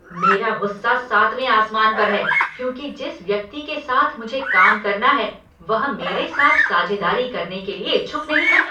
मेरा गुस्सा सातवें आसमान पर है क्योंकि जिस व्यक्ति के साथ मुझे काम करना है वह मेरे साथ साझेदारी करने के लिए इच्छुक नहीं है।